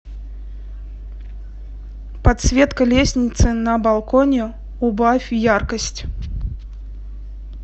подсветка лестницы на балконе убавь яркость